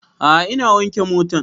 A'a ina wanke motan